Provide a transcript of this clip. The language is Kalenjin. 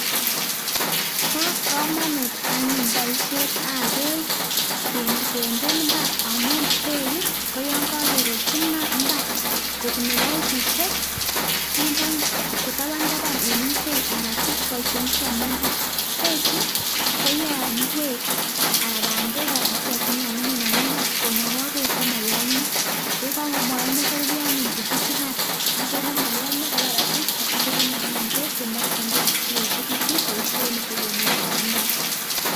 Bo komonut anyun boishetab beek kinde imbar amu beek koyon kakerutyi mbar kobun pipishek kindoi tabantaban eng ikwek anan boishonik che komi imbar beechu koyoe kwek anan bandek anan kiy age tugul nekakimin eng imbar konokoi beek komoyomio [mu] tukuchun kan atya ko moyomio kobar asista asikonyor anyun beek chemokjingei sikoeche kitu boishoni che mitei imbar.